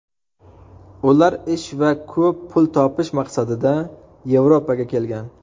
Ular ish va ko‘p pul topish maqsadida Yevropaga kelgan.